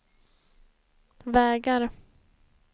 vägar